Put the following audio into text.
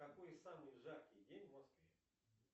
какой самый жаркий день в москве